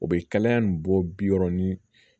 O bɛ kalaya nin bɔ bi wɔɔrɔni